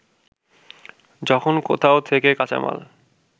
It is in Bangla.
যখন কোথাও থেকে কাঁচামাল